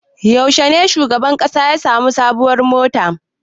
Yaushe ne shugaban ƙasa ya sami sabuwar mota?